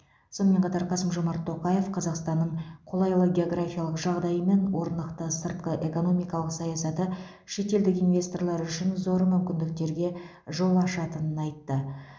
сонымен қатар қасым жомарт тоқаев қазақстанның қолайлы географиялық жағдайы мен орнықты сыртқы экономикалық саясаты шетелдік инвесторлар үшін зор мүмкіндіктерге жол ашатынын айтты